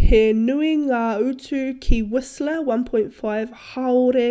he nui ngā utu ki whistler 1.5 hāore